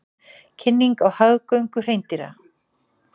Kynning á hagagöngu hreindýra